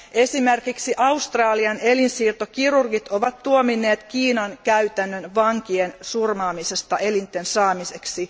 Esimerkiksi Australian elinsiirtokirurgit ovat tuominneet Kiinan käytännön vankien surmaamisesta elinten saamiseksi.